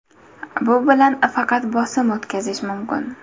Bu bilan faqat bosim o‘tkazish mumkin.